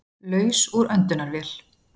Laus úr öndunarvél